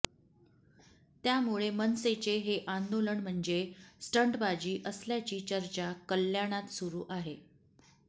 त्यामुळे मनसेचे हे आंदोलन म्हणजे स्टंटबाजी असल्याची चर्चा कल्याणात सुरू आहे